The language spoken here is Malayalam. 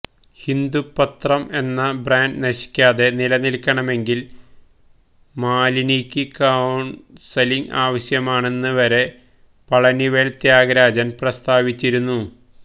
ഹിന്ദു പത്രം എന്ന ബ്രാന്റ് നശിക്കാതെ നിലനില്ക്കണമെങ്കില് മാലിനിയ്ക്ക് കൌണ്സലിംഗ് ആവശ്യമാണെന്ന് വരെ പളനിവേല് ത്യാഗരാജന് പ്രസ്താവിച്ചിരുന്നു